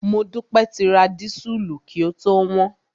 Modúpẹ́ ti ra dísùlù kí ó tó wọ́n.